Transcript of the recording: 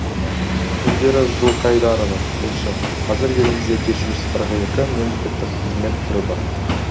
индира жылқайдарова тілші қазір елімізде жеті жүз қырық екі мемлекеттік қызмет түрі бар